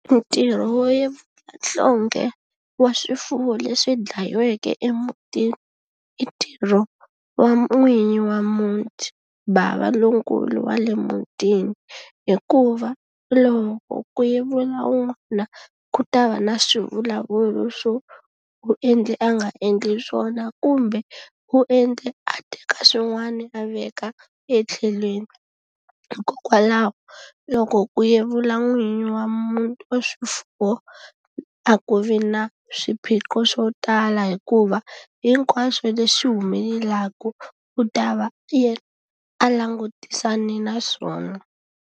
Ntirho wo yevula nhlonghe wa swifuwo leswi dlayiweke emutini, i ntirho wa n'winyi wa muti, bava lonkulu wa le mutini. Hikuva loko ku yevula un'wana ku ta va na swivulavulo swo u endle a nga endli swona kumbe, u endle a teka swin'wana a veka etlhelweni. Hikokwalaho loko ku yevula n'winyi wa wa swifuwo, a ku vi na swiphiqo swo tala hikuva, hinkwaswo leswi humelelaku u ta va yena a langutisane na swona.